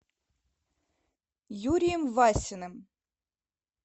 юрием васиным